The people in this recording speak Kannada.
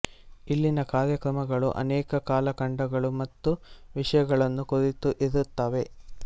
ಇಲ್ಲಿನ ಕಾರ್ಯಕ್ರಮಗಳು ಅನೇಕ ಕಾಲಖಂಡಗಳು ಮತ್ತು ವಿಷಯಗಳನ್ನು ಕುರಿತು ಇರುತ್ತವೆ